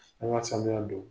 An' ŋa sanuya don.